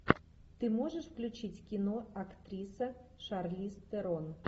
ты можешь включить кино актриса шарлиз терон